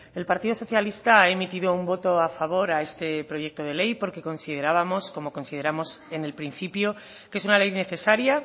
el partido socialista ha emitido un voto a favor a este proyecto de ley porque considerábamos como consideramos en el principio que es una ley necesaria